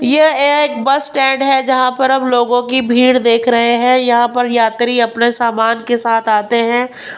ये एक bus stand है जहां पर हम लोगों की भीड़ देख रहे हैं यहां पर यात्री अपने सामान के साथ आते हैं .]